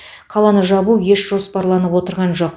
қаланы жабу еш жоспарланып отырған жоқ